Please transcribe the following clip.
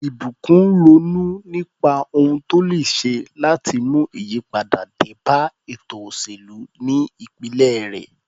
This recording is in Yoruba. Ìbùkún ronú nípa ohun tó lè ṣe láti mú ìyípadà dé bá ètò òṣèlú ní ìpínlẹ̀ rẹ̀.